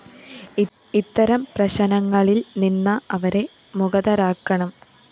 ഇത്തരം പ്രശനങ്ങളില്‍ നിന്ന അവരെ മുകതരാക്കണം